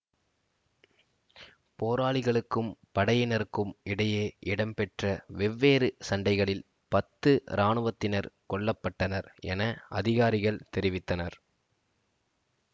போராளிகளுக்கும் படையினருக்கும் இடையே இடம்பெற்ற வெவ்வேறு சண்டைகளில் பத்து இராணுவத்தினர் கொல்ல பட்டனர் என அதிகாரிகள் தெரிவித்தனர்